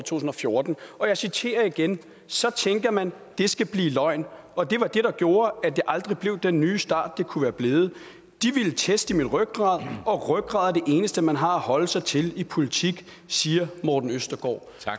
tusind og fjorten og jeg citerer igen så tænker man at det skal blive løgn og det var det der gjorde at det aldrig blev den nye start det kunne være blevet de ville teste min rygrad og rygrad er det eneste man har at holde sig til i politik siger morten østergaard